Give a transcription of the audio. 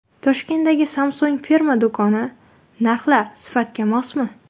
Toshkentdagi Samsung firma do‘koni: narxlar sifatga mosmi?.